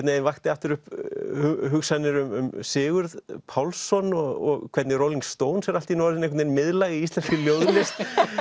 veginn vakti aftur upp hugsanir um Sigurð Pálsson og hvernig Rolling er allt í einu orðin miðlæg í íslenskri ljóðlist